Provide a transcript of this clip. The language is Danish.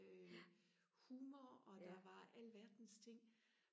øh humor og der var alverdens ting